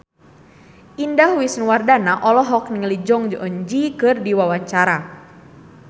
Indah Wisnuwardana olohok ningali Jong Eun Ji keur diwawancara